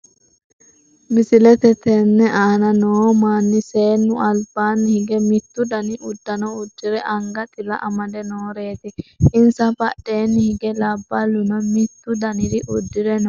misele tenne aanna noo maani seenu alibaanni hige mittu danni udanno ,udire, anga xilla amade, nooreti. insa badheenni hige labaluno mittu dannire udire nooreti.